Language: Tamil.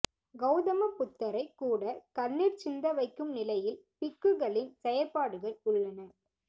கௌதம புத்தரைக் கூட கண்ணீர் சிந்த வைக்கும் நிலையில் பிக்குகளின் செயற்பாடுகள் உள்ளன